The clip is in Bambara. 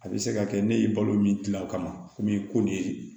A bɛ se ka kɛ ne ye balo min dilan o kama komi ko nin